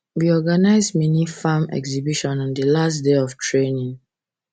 we organize mini farm farm exhibition on the last day of training